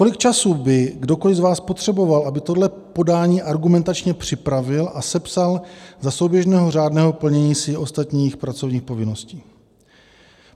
Kolik času by kdokoliv z vás potřeboval, aby tohle podání argumentačně připravil a sepsal za souběžného řádného plnění si ostatních pracovních povinností?